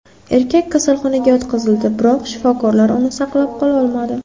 Erkak kasalxonaga yotqizildi, biroq shifokorlar uni saqlab qololmadi.